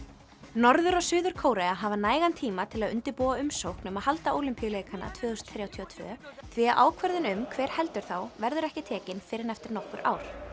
norður og Suður Kórea hafa nægan tíma til að undirbúa umsókn um að halda Ólympíuleikana tvö þúsund þrjátíu og tvö því að ákvörðun um hver heldur þá verður ekki tekin fyrr en eftir nokkur ár